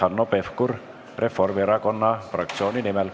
Hanno Pevkur Reformierakonna fraktsiooni nimel.